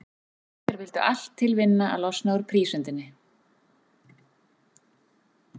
Æsir vildu allt til vinna að losna úr prísundinni.